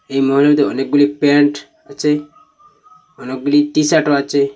এই মলেদে অনেকগুলি প্যান্ট আচে অনেকগুলি টিশার্টও আচে।